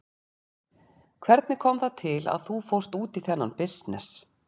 Hvernig kom það til að þú fórst út í þennan bisness?